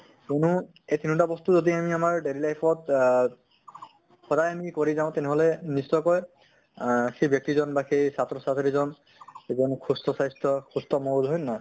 কিয়্নো এই তিনʼটা বস্তু যদি আমি আমাৰ daily life ত অহ সদায় আমি কৰি যাওঁ তেনেহʼলে নিশ্চয়কৈ আহ সেই ব্য়ক্তিজন বা সেই ছাত্ৰ ছাত্ৰী জন এজন সুস্থ স্বাস্থ্য সুস্থ মগজু হয় নে নহয়?